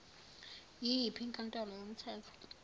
yiyiphi inkantolo yomthetho